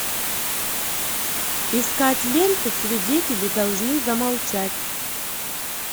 искать ленту свидетели должны замолчать